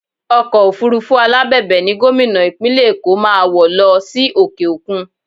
Ọkọ̀ òfurufú alábẹ̀bẹ̀ ni Gómìnà Ìpínlẹ̀ Èkó máa wọ̀ lọ sí òkè òkun